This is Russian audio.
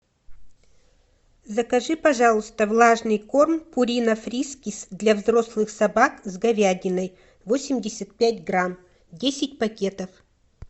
закажи пожалуйста влажный корм пирина фрискис для взрослых собак с говядиной восемьдесят пять грамм десять пакетов